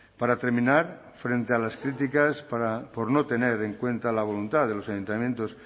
para terminar frente a las críticas por no tener en cuenta la voluntad de los ayuntamientos